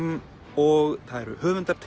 og það eru höfundar